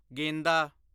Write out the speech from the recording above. ਗੇਂਦਾ